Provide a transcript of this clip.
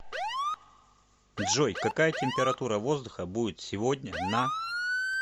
джой какая температура воздуха будет сегодня на